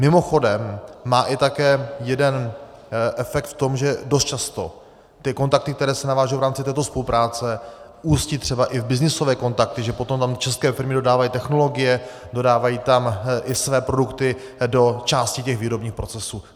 Mimochodem má i také jeden efekt v tom, že dost často ty kontakty, které se navážou v rámci této spolupráce, ústí třeba i v byznysové kontakty, že potom tam české firmy dodávají technologie, dodávají tam i své produkty do části těch výrobních procesů.